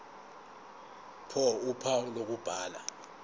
ph uphawu lokubhala